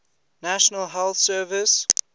national health service